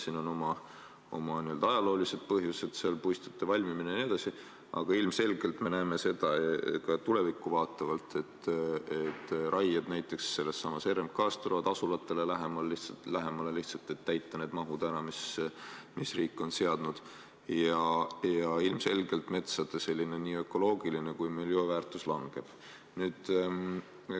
Siin on oma ajaloolised põhjused, puistute valmimine jne, aga ilmselgelt me näeme ka tulevikku vaatavalt, et näiteks sellesama RMK raied tulevad asulatele lähemale, et täita ära need mahud, mis riik on seadnud, ja ilmselgelt metsade nii ökoloogiline kui ka miljööväärtus langeb.